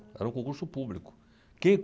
Era um concurso público.